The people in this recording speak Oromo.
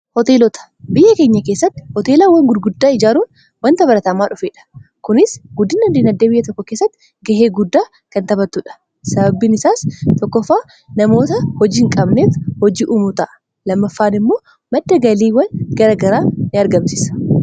hooteelota biyya keenya keessatti hooteelaawwan gurguddaa ijaaruun wanta barataamaa dhufeedha kunis guddina diinagdee biyya tokko keessatti ga'ee guddaa kan taphattuudha. sababbiin isaas tokkofaa namoota hojii hin qabneef hojii uumuuta'a. lammaffaan immoo madda galiiwwan garagaraa in argamsisa.